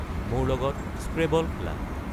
মোৰ লগত স্ক্ৰেবল খেলা